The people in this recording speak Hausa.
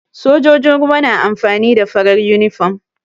Sojojin ruwa na amfani da farar yunifom.